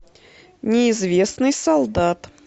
неизвестный солдат